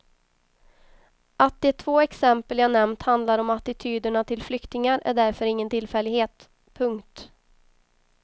Att de två exempel jag nämnt handlar om attityderna till flyktingar är därför ingen tillfällighet. punkt